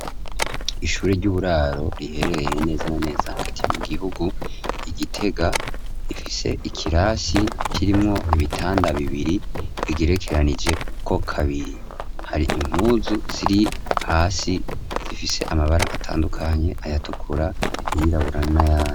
Ishure ry'uburaro riherereye neza na neza hagati mu gihugu i Gitega, rifise ikirasi kirimwo ibitanda bibiri bigerekeranijeko kabiri, hari impuzu ziri hasi zifise amabara atandukanye, ayatukura, ayirabura, n'ayandi.